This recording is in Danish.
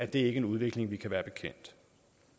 det ikke en udvikling vi kan være bekendt